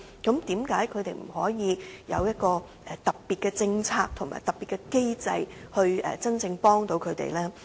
那麼，為何政府不能為他們實施特別的政策和機制，真正幫助他們呢？